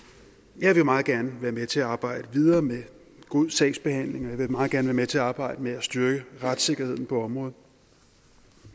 jeg vil meget gerne være med til at arbejde videre med god sagsbehandling og jeg vil meget gerne være med til at arbejde med at styrke retssikkerheden på området